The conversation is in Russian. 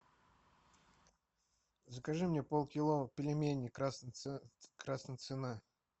закажи мне полкило пельменей красная цена